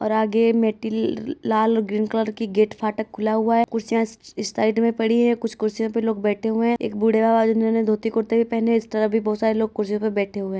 और आगे मेटल लाल और ग्रीन कलर का गेट फाटक खुला हुआ है। कुर्सियां इस साइड में पड़ी हैं कुछ कुर्सियों पे लोग बैठे हुए हैं एक बूढ़ा है उन्होंने धोती कुर्ता भी पहना है इस तरफ भी बोहत सारे लोग कुर्सियों पे बैठे हुए हैं।